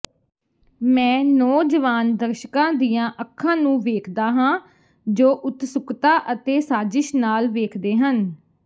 ਮੈਂ ਨੌਜਵਾਨ ਦਰਸ਼ਕਾਂ ਦੀਆਂ ਅੱਖਾਂ ਨੂੰ ਵੇਖਦਾ ਹਾਂ ਜੋ ਉਤਸੁਕਤਾ ਅਤੇ ਸਾਜ਼ਿਸ਼ ਨਾਲ ਵੇਖਦੇ ਹਨ